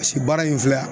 Paseke baara in filɛ